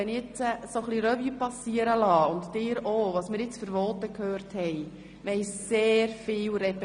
Wenn ich jetzt so ein bisschen Revue passieren lasse – und Sie bitte auch –, was wir für Voten gehört haben, so hatten wir gab es doch sehr viel Repetitives.